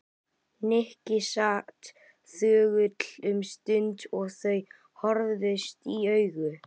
Nikki sat þögull um stund og þau horfðust í augu.